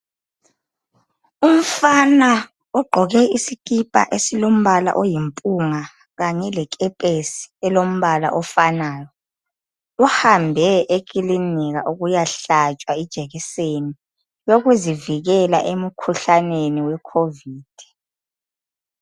Umfana ogqoke isikipa esilombala oyimpunga kanye lekepesi elombala ofanayo, uhambe ekilinika ukuyahlatshwa ijekiseni yokuzivikela emkhuhlaneni wecovid.